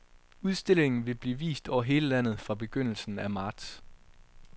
Udstillingen vil blive vist over hele landet fra begyndelsen af marts.